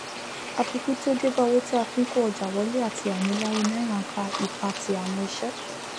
àfikún tí ó débá owó tí a fií kó òjà wolé àtì ànílárí náírà n fa ìpatì àwon isé